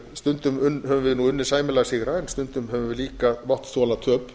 stundum höfum við unnið sæmilega sigra sundum höfum við líka mátt þola töp